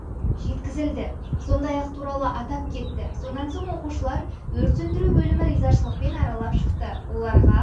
жеткізілді сондай-ақ туралы атап кетті сонан соң оқушылар өрт сөндіру бөлімі ризашылықпен аралап шықты оларға